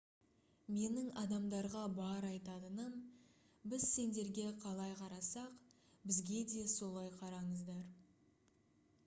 менің адамдарға бар айтатыным біз сендерге қалай қарасақ бізге де солай қараңыздар